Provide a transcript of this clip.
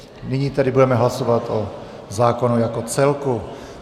Nyní tedy budeme hlasovat o zákonu jako celku.